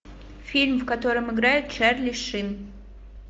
фильм в котором играет чарли шин